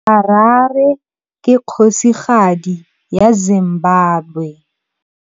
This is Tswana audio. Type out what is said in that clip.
Harare ke kgosigadi ya Zimbabwe.